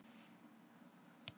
Veðurofsi á vesturströndinni